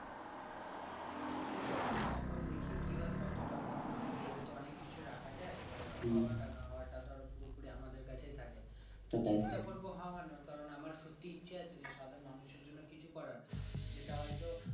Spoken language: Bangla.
সেটাই সেটাই এখন দেখি কিভাবে কত টাকা না ভেবে তো অনেক কিছু রাখা যায় এবার হওয়াটা না হওয়াটা ধরা পুরোপুরি আমাদের কাছেই থাকে চেষ্টা করব হাওয়ানর কারণ আমার সত্যি ইচ্ছা আছে যে সাধারণ মানুষের জন্য কিছু করার যেটা হয়তো